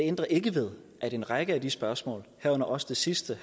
ændrer ikke ved at en række af de spørgsmål herunder også det sidste